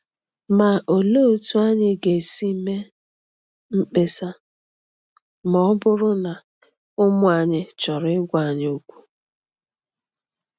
Ma olee otú anyị ga-esi eme mkpesa ma ọ bụrụ na ụmụ anyị chọrọ ịgwa anyị okwu?